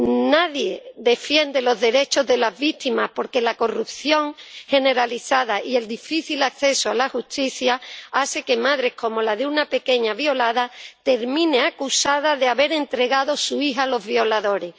Nadie defiende los derechos de las víctimas porque la corrupción generalizada y el difícil acceso a la justicia hacen que madres, como la de una pequeña violada, terminen acusadas de haber entregado a su hija a los violadores.